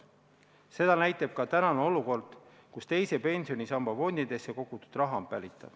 Seda näitab ka tänane olukord, kus teise pensionisamba fondidesse kogutud raha on päritav.